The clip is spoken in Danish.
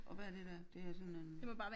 Og hvad er det der det er sådan en